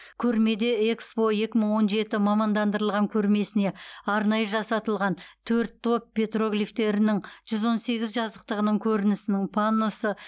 көрмеде экспо екі мың он жеті мамандандырылған көрмесіне арнайы жасатылған төрт топ петроглифтерінің жүз он сегіз жазықтығының көрінісінің панносы